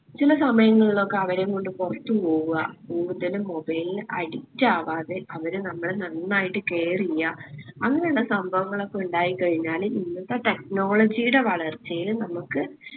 ചില സമയങ്ങളിലൊക്കെ അവരേം കൊണ്ട് പൊറത്തു പോവുക കൂടുതല് mobile ൽ addict ആവാതെ അവരെ നമ്മള് നന്നായിട്ട് care എയ്യാ അങ്ങനിള്ള സംഭവങ്ങളൊക്കെ ഉണ്ടായിക്കഴിഞ്ഞാല് ഇന്നത്തെ technology ടെ വളർച്ചയില് നമ്മുക്ക്